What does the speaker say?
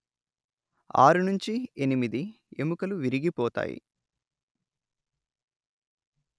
ఆరు నుంచి ఎనిమిది ఎముకలు విరిగిపోతాయి